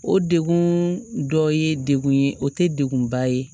O degun dɔ ye degun ye o tɛ degunba ye